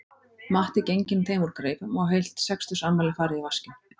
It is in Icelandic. Matti genginn þeim úr greipum og heilt sextugsafmæli farið í vaskinn